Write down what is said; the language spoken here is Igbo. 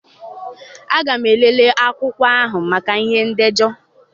Aga m elele akwụkwọ ahụ maka ihe ndejọ.